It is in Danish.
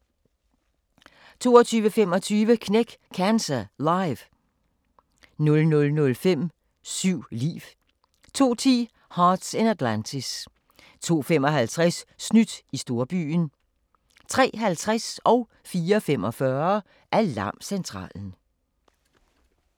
22:25: Knæk Cancer Live 00:05: Syv liv 02:10: Hearts in Atlantis 02:55: Snydt i storbyen 03:50: Alarmcentralen 04:45: Alarmcentralen